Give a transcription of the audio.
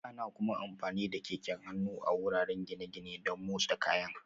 Ana kuma amfani da keken hannu a wuraren gine-gine don motsa kayan